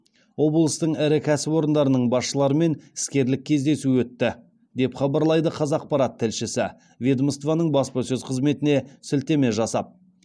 облыстың ірі кәсіпорындарының басшыларымен іскерлік кездесу өтті деп хабарлайды қазақпарат тілшісі ведомствоның баспасөз қызметіне сілтеме жасап